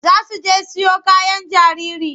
Za su je siyo kayan jariri.